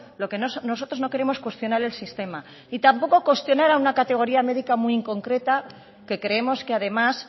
lo que nosotros no queremos cuestionar el sistema y tampoco cuestionar a una categoría médica muy concreta que creemos que además